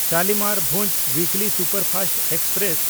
ᱥᱟᱞᱤᱢᱟᱨ-ᱵᱷᱩᱡᱽ weekly superfast express